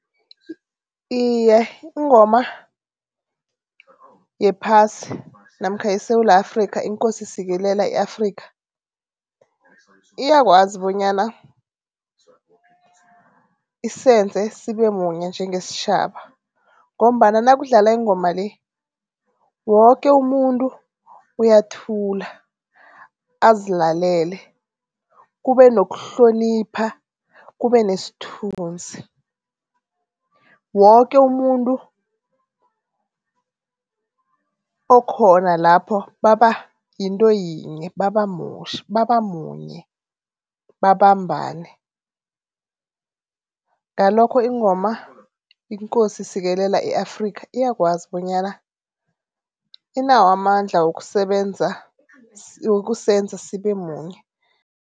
Iye ingoma yephasi namkha yeSewula Afrikha, iNkosi sikelela i-Afrikha, iyakwazi bonyana isenze sibe munye njengesitjhaba ngombana nakudlala ingoma le, woke umuntu uyathula azilalele, kube nokuhlonipha, kube nesthunzi. Woke umuntu okhona lapho baba yinto yinye, babamunye, babambane. Ngalokho ingoma, iNkosi sikelela i-Afrikha, iyakwazi bonyana, inawo amandla wokusebenza wokusenza sibe munye.